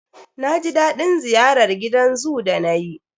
Na ji daɗin ziyarar gidan zoo da nayi.